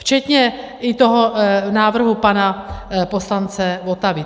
Včetně i toho návrhu pana poslance Votavy.